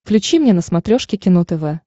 включи мне на смотрешке кино тв